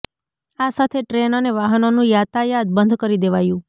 આ સાથે ટ્રેન અને વાહનોનું યાતાયાત બંધ કરી દેવાયું